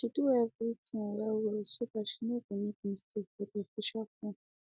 she do everything well well so that she no go make mistake for the official forms